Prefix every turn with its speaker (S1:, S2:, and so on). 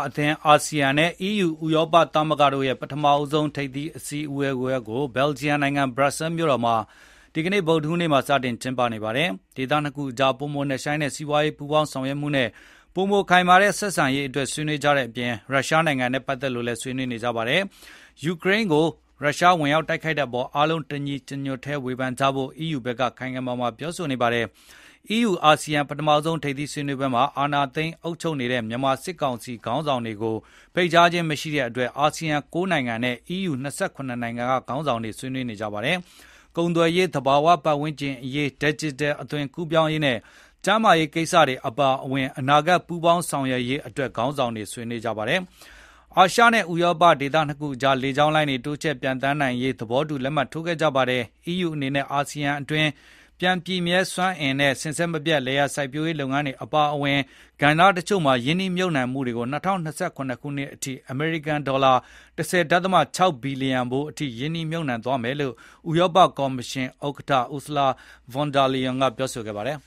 S1: အသင်း အာဆီယံနဲ့ EU ဥရောပသမဂ္ဂတို့ရဲ့ ပထမဆုံး ထိပ်သီးအစည်းအဝေးကို ဘယ်လဂျီယံနိုင်ငံ ဘရပ်ဆဲလ်မြို့တော်မှာ ဒီနေ့ ဗုဒ္ဓဟူးနေ့မှာ စတင်ကျင်းပနေပါတယ်။ ဒေသနှစ်ခုအကြား ပိုမိုနက်ရှိုင်းတဲ့စီးပွားရေး ပူးပေါင်းဆောင်ရွက်မှုနဲ့ ပိုမိုခိုင်မာတဲ့ဆက်ဆံရေးတွေအတွက် ဆွေးနွေးကြတဲ့အပြင် ရုရှားနိုင်ငံနဲ့ပတ်သက်လို့လည်း ဆွေးနွေးနေကြပါတယ်။ ယူကရိန်းကို ရုရှားစစ်ဝင်တိုက်နေတဲ့အပေါ် အားလုံးတညီတညွတ်တည်း ဝေဖန်ကြဖို့ EU ဘက်က ခိုင်ခိုင်မာမာပြောဆိုနေပါတယ်။ EU အာဆီယံ ပထမဆုံးထိပ်သီးဆွေးနွေးပွဲမှာ အာဏာသိမ်း အုပ်ချုပ်နေတဲ့ မြန်မာစစ်ကောင်စီခေါင်းဆောင်တွေကို ဖိတ်ကြားခြင်းမရှိတဲ့အတွက် အာဆီယံ ၉ နိုင်ငံနဲ့ EU ၂၇ နိုင်ငံက ခေါင်းဆောင်တွေ ဆွေးနွေးနေကြပါတယ်။ ကုန်သွယ်ရေး၊ သဘာဝပတ်ဝန်းကျင်အရေး၊ ဒယ်ဂျစ်တယ် အသွင် ကူးပြောင်းရေးနဲ့ ကျန်းမာရေးကိစ္စတွေအပါအဝင် အနာဂတ်ပူးပေါင်းဆောင်ရွက်ရေးအတွက် ခေါင်းဆောင်တွေဆွေးနွေးကြပါတယ်။ အာရှနဲ့ ဥရောပ ဒေသနှစ်ခုအကြား လေကြောင်းလိုင်းတွေ တိုးချဲ့ ပျံသန်းနိုင်ရေး သဘောတူလက်မှတ်ထိုးခဲ့ကြပါတယ်။ အီးယူအနေနဲ့ အာဆီယံဒေသတွင်း ပြန် ပြည့်မြဲစွမ်းအင်နဲ့ စဉ်ဆက်မပြတ်လယ်ယာစိုက်ပျိုးရေးလုပ်ငန်းတွေအပါအဝင် ကဏ္ဍတချို့မှာရင်းနှီးမြှုပ်နှံမှုတွေကို ၂၀၂၇ ခုနှစ်အထိ အမေရိကန်ဒေါ်လာ ၁၀.၆ ဘီလျံဖိုးအထိ ရင်းနှီးမြှုပ်နှံသွားမယ်လို့ ဥရောပကော်မရှင်ဥက္ကဋ္ဌ Ursula von der Leyen ကပြောခဲ့ပါတယ်